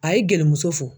A ye gerimuso fo